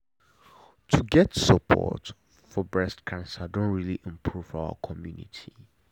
to get support for breast cancer don really improve for our community.